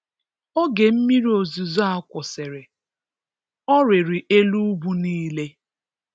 Oge mmiri ozizo a kwụsịrị, Ọ rịrị elu ugwu nile.